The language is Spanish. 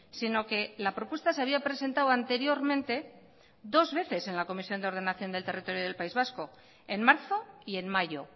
sino que la propuesta se había presentado anteriormente dos veces en la comisión de ordenación del territorio del país vasco en marzo y en mayo